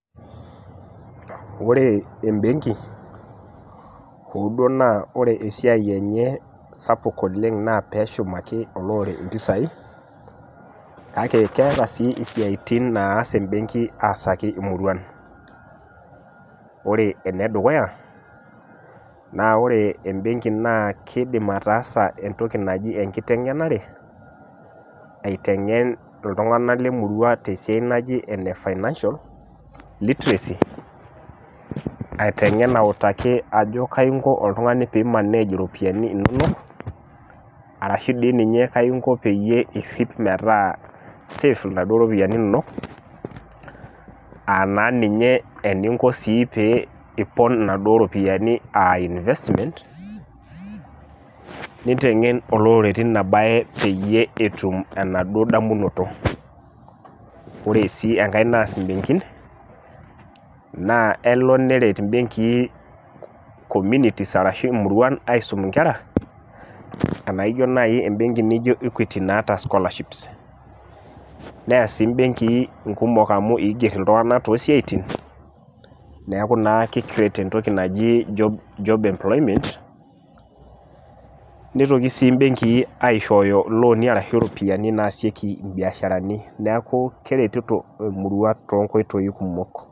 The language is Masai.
Ore embenki hoo duo naa ore esiai enye sapuk oleng naa peeshum impisai kake keeta sii isiatin naas embenki aasaki imuruan Ore enedukuya naa ore embenki naa kiidim ataasa entoki naji enkiteng'enare aiteng'en iltunganak lemurua tesiai naji ene financial literacy aitengen autaki ajo kaingo oltungani piimanage iropiani inono arashu diininye kaingo peyie irhip metaa save inaduo ropiani inonok aa naa ninye eninko piipon inaduo ropiani aainvestment niteng'en olorere teina bae peyie etum enaduo damunoto Ore sii enkae naas imbenkin naa elo neret imbenkii communities aaret ingera enaijo nai embenki naijo Equity naata scholarships neea sii imbenkii iltunganak kumok amu iigier iltunganak tosiaitin neeku naa kikcreate entoki naji job employment nitoki sii aishooyo ilooni ashu iropiani naasieki imbiasharani neeku keretito emurua toonkoitoi kumok